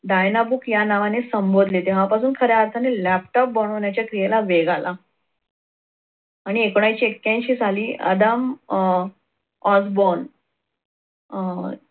Diana book या नावाने संबोधले तेव्हापासून खऱ्या अर्थाने laptop बनवण्याच्या क्रियेला वेग आला. आणि एकोणविशे ऐक्यांशी साली आदाम अह Osborn अह